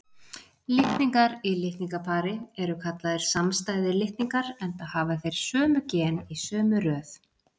Litningar í litningapari eru kallaðir samstæðir litningar, enda hafa þeir sömu gen í sömu röð.